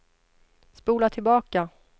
spola tillbaka